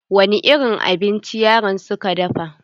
Wani irin abinci yaran suka dafa?